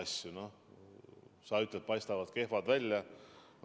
Sa ütled, et otsused paistavad kehvad välja.